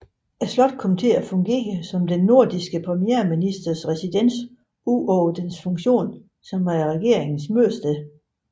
Slottet kom til at fungere som den nordirske premierministers residens ud over dens funktion som regeringens mødested